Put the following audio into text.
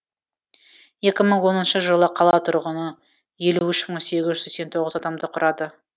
екі мың оныншы жылы қала тұрғыны елу үш мың сегіз жүз сексен тоғыз адамды құрады